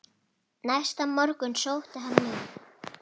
Næsta morgun sótti hann mig.